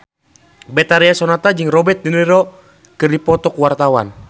Betharia Sonata jeung Robert de Niro keur dipoto ku wartawan